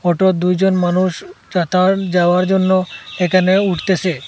অটোয় দুইজন মানুষ চাতার যাওয়ার জন্য এখানে উঠতেসে।